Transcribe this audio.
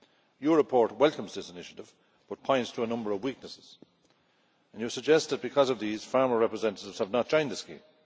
Your report welcomes this initiative but points to a number of weaknesses. You suggested that, because of these, farmer representatives have not joined the scheme.